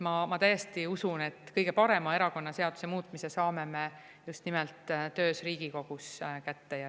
Ma täiesti usun, et kõige parema erakonnaseaduse muutmise me saame just nimelt Riigikogus tehtud.